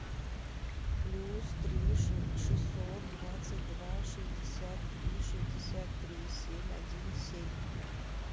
плюс три шестьсот двадцать два шестьдесят три шестьдесят три семь один семь